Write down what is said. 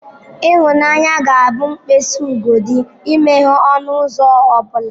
Ịhụnanya ga-abụ mkpịsị ugodi imeghe ọnụ ụzọ ọ bụla.